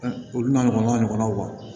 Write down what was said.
Olu n'a ɲɔgɔnnaw ɲɔgɔnnaw ma